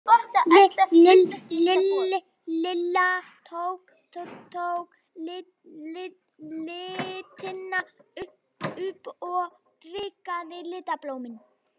Lilla tók litina upp og Rikka litaði blómin.